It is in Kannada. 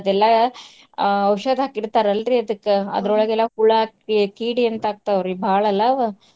ಅದೆಲ್ಲಾ ಆ ಔಷಧ ಹಾಕಿರ್ತಾರಲ್ರಿ ಅದಕ್ಕ್ ಅದ್ರೊಳಗೆಲ್ಲಾ ಹುಳಾ ಕಿ~ ಕೀಡಿ ಅಂತ ಆಗ್ತಾವ್ರ್ರಿ ಬಾಳಲಾ.